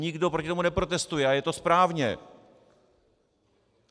Nikdo proti tomu neprotestuje a je to správně.